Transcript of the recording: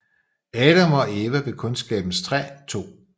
Adam og Eva ved Kundskabens træ 2